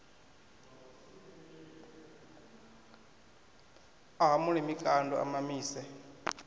a hamule mikando a mamise